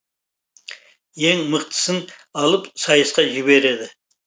ең мықтысын алып сайысқа жібереді